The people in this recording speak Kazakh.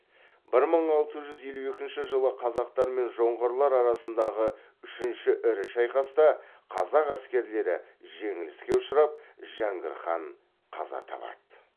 бір мың алты жүз елу екінші жылы қазақтар мен жоңғарлар арасындағы үшінші ірі шайқаста қазақ әскерлері жеңіліске ұшырап жәңгір хан қаза табады